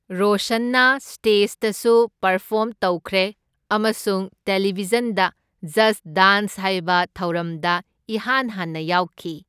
ꯔꯣꯁꯟꯅ ꯁ꯭ꯇꯦꯖꯇꯁꯨ ꯄꯥꯔꯐꯣꯔꯝ ꯇꯧꯈ꯭ꯔꯦ ꯑꯃꯁꯨꯡ ꯇꯦꯂꯤꯚꯤꯖꯟꯗ ꯖꯁꯠ ꯗꯥꯟ꯭ꯁ ꯍꯥꯢꯕ ꯊꯧꯔꯝꯗ ꯏꯍꯥꯟ ꯍꯥꯟꯅ ꯌꯥꯎꯈꯤ꯫